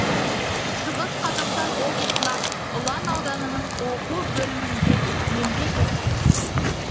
шығыс қазақстан облысына ұлан ауданының оқу бөлімінде еңбек етті